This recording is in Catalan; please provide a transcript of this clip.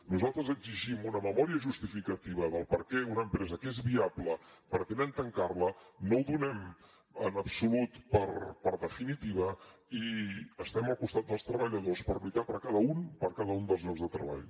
nosaltres exigim una memòria justificativa de per què una empresa que és viable pretenen tancar la no ho donem en absolut per definitiu i estem al costat dels treballadors per lluitar per cada un per cada un dels llocs de treball